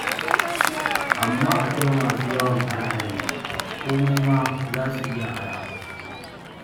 Amma akwai masu yawan are-are, komai ma za su iya ara.